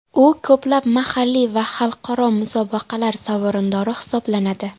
U ko‘plab mahalliy va xalqaro musobaqalar sovrindori hisoblanadi.